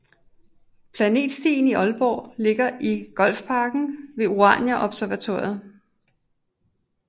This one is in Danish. Planetstien i Aalborg ligger i Golfparken ved Urania Observatoriet